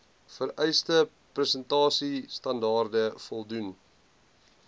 vereiste prestasiestandaarde voldoen